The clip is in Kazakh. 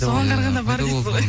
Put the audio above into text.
соған қарағанда бар дейсіз ғой